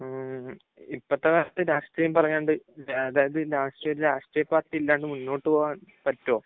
ഉം. ഇപ്പോഴത്തെ കാലത്ത് രാഷ്ട്രീയം പറയാണ്ട്, അതായത് രാഷ്ട്രീയം, രാഷ്ട്രീയ പാർട്ടി ഇല്ലാണ്ട് മുന്നോട്ടുപോകാൻ പറ്റുമോ?